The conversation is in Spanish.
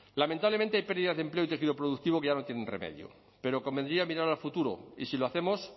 lamentablemente hay pérdidas de empleo y tejido productivo que ya no tienen remedio pero convendría mirar al futuro y si lo hacemos